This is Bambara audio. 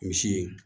Misi